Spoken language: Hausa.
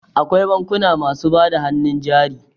Akwai bankuna masu bada hannun jari.